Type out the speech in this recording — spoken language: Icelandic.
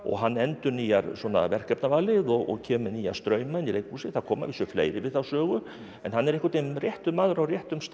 hann endurnýjar svona verkefnavalið og kemur með nýja strauma inn í leikhúsið það koma að vísu fleiri við þá sögu en hann er einhvern veginn réttur maður á réttum stað á